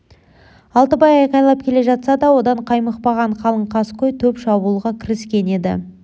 алтыбай айғайлап келе жатса да одан қаймықпаған қалың қаскөй топ шабуылға кіріскен еді